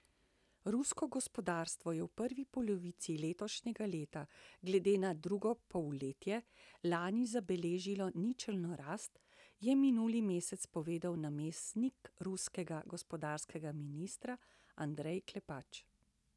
Rusko gospodarstvo je v prvi polovici letošnjega leta glede na drugo polletje lani zabeležilo ničelno rast, je minuli mesec povedal namestnik ruskega gospodarskega ministra Andrej Klepač.